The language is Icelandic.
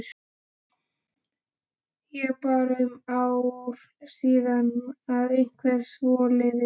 Ég bara um ár síðan eða eitthvað svoleiðis?